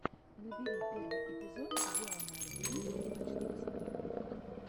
набери первый эпизод дианы арбениной и ночных снайперов